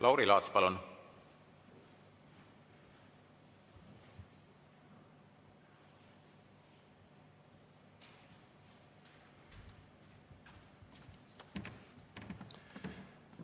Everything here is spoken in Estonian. Lauri Laats, palun!